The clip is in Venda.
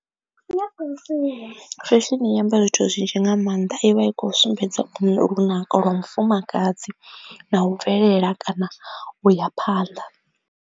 Fesheni iamba zwithu zwinzhi nga maanḓa ivha i kho sumbedza lunako lwa mufumakadzi na u bvelela kana uya phanḓa.